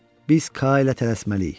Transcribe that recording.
Biz Ka ilə tələsməliyik.